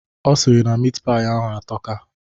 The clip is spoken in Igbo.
Ọ sịrị na mit paị ahụ atọka.